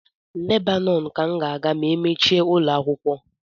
Lebanon ka m ga-aga ma emechie ụlọakwụkwọ